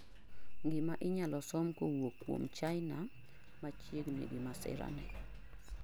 gima inyalo som kowuok kuom China machiegni gi masira ni